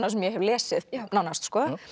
sem ég hef lesið nánast